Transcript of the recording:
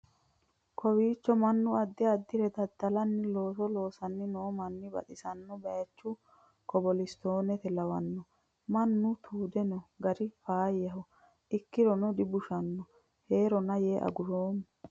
kowiicho mannu addi addire dadalanni looso loosanni noo manni baxisanno baychu kobilistoone lawannoe mannu tuude noo gari faayyaho ikkirono dibushshanona heerona yee aguroommo